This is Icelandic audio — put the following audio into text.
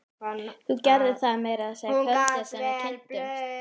Þú gerðir það meira að segja kvöldið sem við kynntumst.